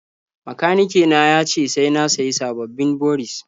Makanike na ya ce sai na sayi sababbin boris.